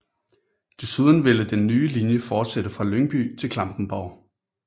Desuden ville den nye linje fortsætte fra Lyngby til Klampenborg